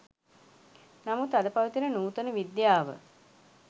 නමුත් අද පවතින නූතන විද්‍යාව